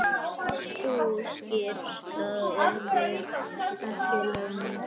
Sú skýrsla yrði ekki löng.